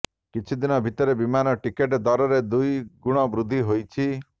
କିଛି ଦିନ ଭିତରେ ବିମାନ ଟିକଟ ଦରରେ ଦୁଇ ଗୁଣ ବୃଦ୍ଧି ହୋଇଛି